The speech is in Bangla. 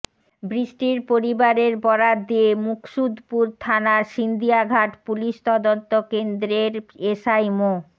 বৃষ্টির পরিবারের বরাত দিয়ে মুকসুদপুর থানার সিন্দিয়াঘাট পুলিশ তদন্ত কেন্দ্রের এসআই মো